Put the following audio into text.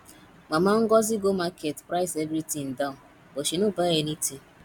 mama ngozi go market price every thing down but she no buy anything